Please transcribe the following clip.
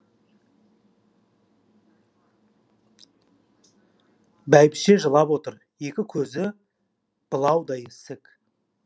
бәйбіше жылап отыр екі көзі былаудай ісік